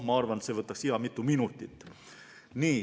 Ma arvan, et see võtaks hea mitu minutit.